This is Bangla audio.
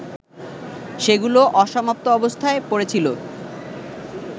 সেগুলো অসমাপ্ত অবস্থায় পড়েছিল